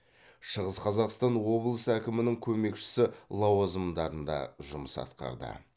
шығыс қазақстан облысы әкімінің көмекшісі лауазымдарында жұмыс атқарды